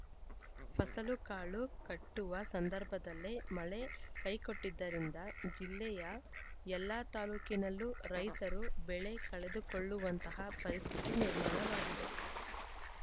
ಫಸಲು ಕಾಳು ಕಟ್ಟುವ ಸಂದರ್ಭದಲ್ಲೇ ಮಳೆ ಕೈಕೊಟ್ಟಿದ್ದರಿಂದ ಜಿಲ್ಲೆಯ ಎಲ್ಲ ತಾಲೂಕಿನಲ್ಲೂ ರೈತರು ಬೆಳೆ ಕಳೆದುಕೊಳ್ಳುವಂತಹ ಪರಿಸ್ಥಿತಿ ನಿರ್ಮಾಣವಾಗಿದೆ